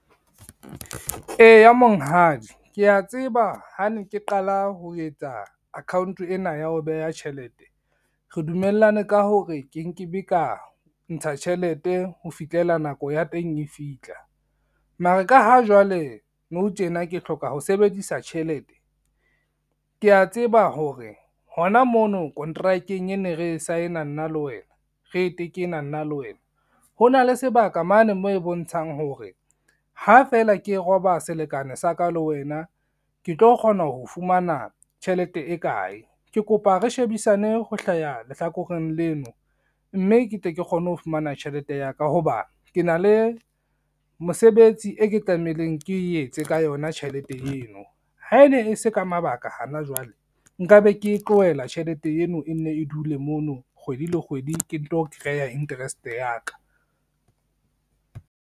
Eya monghadi, ke ya tseba ha ne ke qala ho etsa account ena ya ho beha tjhelete, re dumellane ka hore ke nke be ka ntsha tjhelete ho fihlela nako ya teng e fihla. Mare ka ha jwale, nou tjena ke hloka ho sebedisa tjhelete, kea tseba hore hona mono kontrakeng ene re saena nna le wena, re e tekena nna le wena ho na le sebaka mane moo e bontshang hore ha feela ke roba selekane sa ka le wena ke tlo kgona ho fumana tjhelete e kae. Ke kopa re shebisane ho hlaha lehlakoreng leno mme ke tle ke kgone ho fumana tjhelete ya ka, ho ba ke na le mosebetsi e ke tlameileng ke etse ka yona tjhelete eno, ha e ne e se ka mabaka hana jwale nka be ke tlohela tjhelete eno e nne e dule mono kgwedi le kgwedi, ke nto kreya interest ya ka.